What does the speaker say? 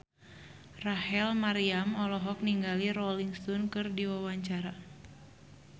Rachel Maryam olohok ningali Rolling Stone keur diwawancara